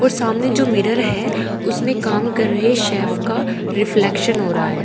और सामने जो मिरर है उसमें काम कर रहे हैं सैफ का रिफ्लेक्शन हो रहा है।